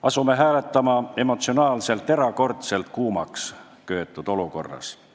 Asume hääletama emotsionaalses, erakordselt kuumaks köetud olukorras.